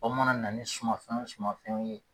Aw mana na ni sumanfɛn o sumanfɛnw ye.